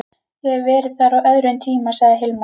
Ég hef verið þar á öðrum tíma, sagði Hilmar.